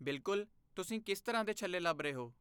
ਬਿਲਕੁਲ, ਤੁਸੀਂ ਕਿਸ ਤਰ੍ਹਾਂ ਦੇ ਛੱਲੇ ਲੱਭ ਰਹੇ ਹੋ?